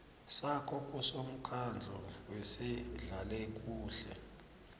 sakho kusomkhandlu wezehlalakuhle